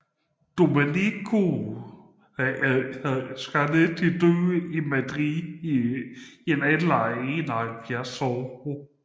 Domenico Scarlatti døde i Madrid i en alder af 71 år